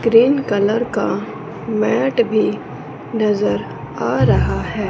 Green colour का mat भी नजर आ रहा है।